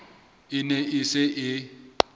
e ne e se e